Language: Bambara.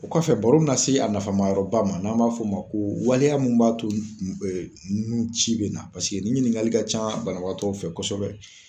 O kɔfɛ baro na se a nafa ma yɔrɔ ba ma n'an b'a fɔ o ma ko waleya mun b'a to nun ci bɛ na paseke ni ɲininkali ka ca banabagatɔ fɛ kɔsɛbɛ.